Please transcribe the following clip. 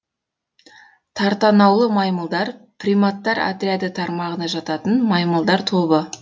тартанаулы маймылдар приматтар отряды тармағына жататын маймылдар тобы